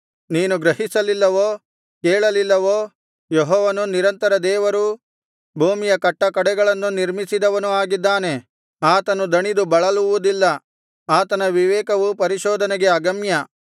ನೀನು ಗ್ರಹಿಸಲಿಲ್ಲವೋ ಕೇಳಲಿಲ್ಲವೋ ಯೆಹೋವನು ನಿರಂತರ ದೇವರೂ ಭೂಮಿಯ ಕಟ್ಟಕಡೆಗಳನ್ನು ನಿರ್ಮಿಸಿದವನೂ ಆಗಿದ್ದಾನೆ ಆತನು ದಣಿದು ಬಳಲುವುದಿಲ್ಲ ಆತನ ವಿವೇಕವು ಪರಿಶೋಧನೆಗೆ ಅಗಮ್ಯ